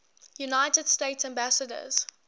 united states ambassadors